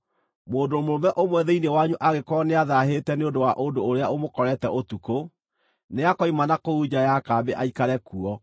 Mũndũ mũrũme ũmwe thĩinĩ wanyu angĩkorwo nĩathaahĩte nĩ ũndũ wa ũndũ ũrĩa ũmũkorete ũtukũ, nĩakoima na kũu nja ya kambĩ aikare kuo.